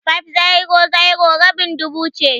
500 rabin dubu ce.